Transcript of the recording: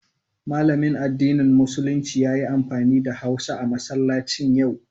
Malamin addinin Musulunci ya yi amfani da hausa a masallacin yau.